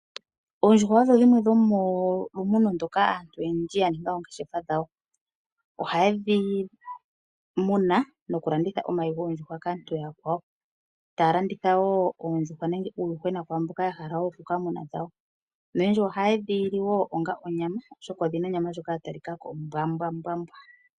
Oondjuhwa odho dhimwe dhomolumuno moka aantu oyendji ya ninga ongeshefa dhawo. Ohaye dhi muna noku landitha omayi goondjuhwa kaantu oya kwawo. Ta landitha wo oondjuhwa nenge uuyuhwena kwaamboka ya hala oku ka muna dhawo. Nolundji oha yedhi li wo onga onyama oshoka odhina onyama ndjoka ya talikako ombwambwambwa.